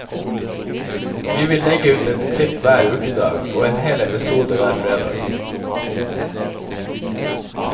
Vi vil legge ut ett klipp hver ukedag, og en hel episode hver fredag.